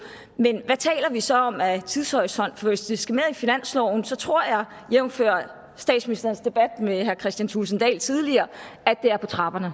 men hvad taler vi så om af tidshorisont hvis det skal med i finansloven tror jeg jævnfør statsministerens debat med herre kristian thulesen dahl tidligere at det er på trapperne